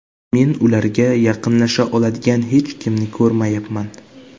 Men ularga yaqinlasha oladigan hech kimni ko‘rmayapman.